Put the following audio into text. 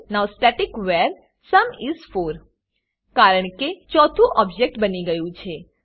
now static var sum is 4 કારણ કે 4થુ ઓબજેક્ટ બની ગયું છે